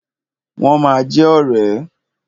Wọ́n ma jẹ ọ̀rẹ́.